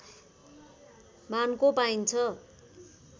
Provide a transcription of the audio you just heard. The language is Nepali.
मानको पाइन्छ